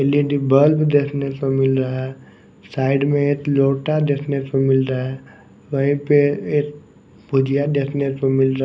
L E D bulb देखने को मिल रहा है साइड में एक लोटा देखने को मिल रहा है वहीं पे एक भुजिया देखने को मिल रहा --